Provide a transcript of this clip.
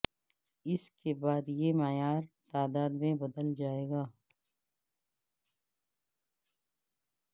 اس کے بعد کے معیار تعداد میں بدل جائے گی